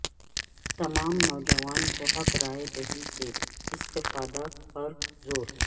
تمام نوجوانوں کو حق رائے دہی سے استفادہ پر زور